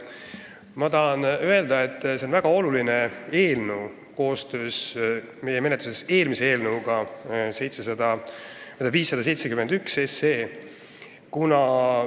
Ma tahan öelda, et see eelnõu ja eelnõu 571 on väga olulised.